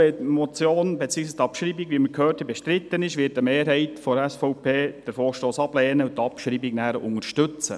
Wenn die Motion beziehungsweise die Abschreibung bestritten ist, wird eine Mehrheit der SVP den Vorstoss ablehnen und die Abschreibung anschliessend unterstützen.